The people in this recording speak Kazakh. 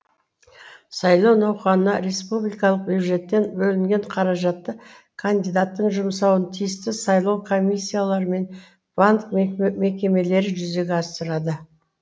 сайлау науқанына республикалық бюджеттен бөлінген қаражатты кандидаттың жұмсауын тиісті сайлау комиссиялары мен банк мекемелері жүзеге асырады